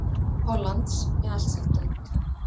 Hollands með allt sitt dót.